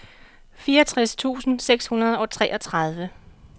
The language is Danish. fireogtres tusind seks hundrede og treogtredive